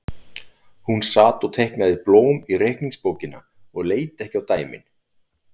Hún sat og teiknaði blóm í reikningsbókina og leit ekki á dæmin.